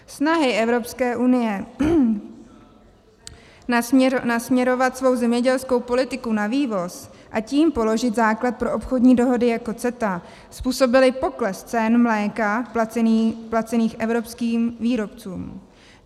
Snahy Evropské unie nasměrovat svou zemědělskou politiku na vývoz, a tím položit základ pro obchodní dohody jako CETA způsobily pokles cen mléka placených evropským výrobcům.